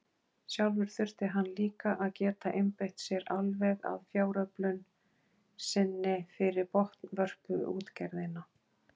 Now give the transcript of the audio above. Sjálfur þurfti hann líka að geta einbeitt sér alveg að fjáröflun sinni fyrir botnvörpuútgerðina.